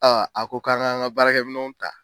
a ko k'an ka'an ka baarakɛ minɛw ta.